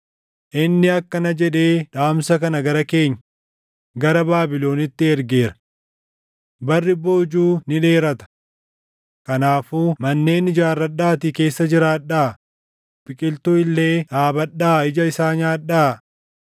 Inni akkana jedhee dhaamsa kana gara keenya, gara Baabilonitti ergeera: Barri boojuu ni dheerata. Kanaafuu manneen ijaarradhaatii keessa jiraadhaa; biqiltuu illee dhaabadhaa ija isaa nyaadhaa.’ ”